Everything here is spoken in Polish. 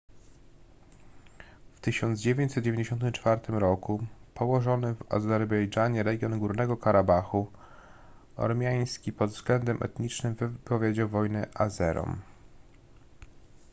w 1994 roku położony w azerbejdżanie region górnego karabachu ormiański pod względem etnicznym wypowiedział wojnę azerom